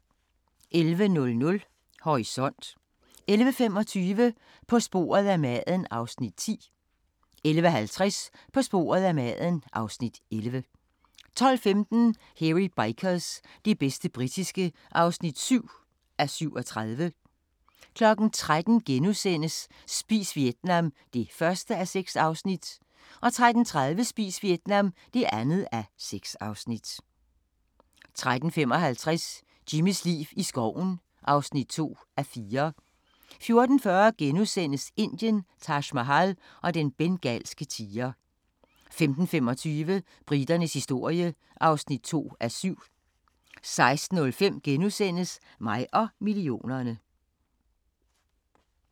11:00: Horisont 11:25: På sporet af maden (Afs. 10) 11:50: På sporet af maden (Afs. 11) 12:15: Hairy Bikers – det bedste britiske (7:37) 13:00: Spis Vietnam (1:6)* 13:30: Spis Vietnam (2:6) 13:55: Jimmys liv i skoven (2:4) 14:40: Indien – Taj Mahal og den bengalske tiger * 15:25: Briternes historie (2:7) 16:05: Mig og millionerne *